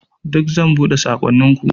Duk zan buɗe saƙonninku.